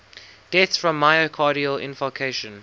deaths from myocardial infarction